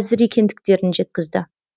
әзір екендіктерін жеткізді